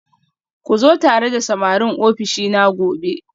Ku zo tare da samarin ofishina gobe